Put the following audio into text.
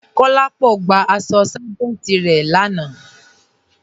Kolápọ̀ gbà àṣọ sájẹntì rẹ jọ lànà.